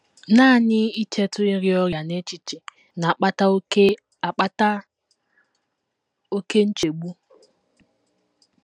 Nanị ichetụ ịrịa ọrịa n’echiche na - akpata oké - akpata oké nchegbu.